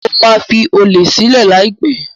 Mo máa fi olè sílẹ̀ láìpẹ́.